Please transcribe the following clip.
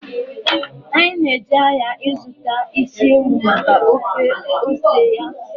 Anyị na-eje ahịa ịzụta isi ewu maka ofe ose ya